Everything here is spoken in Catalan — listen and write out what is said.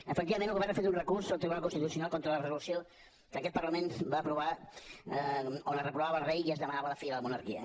efectivament el govern ha fet un recurs al tribunal constitucional contra la resolució que aquest parlament va aprovar on es reprovava el rei i es demanava la fi de la monarquia